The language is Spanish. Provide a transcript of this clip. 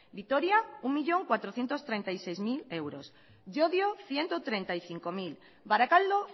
vitoria un millón cuatrocientos treinta y seis mil euros llodio ciento treinta y cinco mil barakaldo